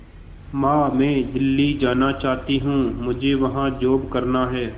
मां मैं दिल्ली जाना चाहते हूँ मुझे वहां जॉब करना है